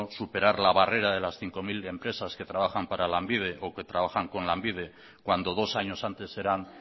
superar la barrera de las cinco mil empresas que trabajan para lanbide o que trabajan con lanbide cuando dos años antes eran